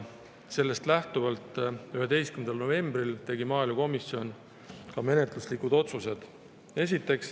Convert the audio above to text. Sellest lähtuvalt tegi 11. novembril maaelukomisjon menetluslikud otsused.